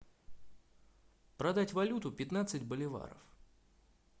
продать валюту пятнадцать боливаров